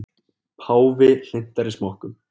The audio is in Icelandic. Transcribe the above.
Páfi hlynntari smokkum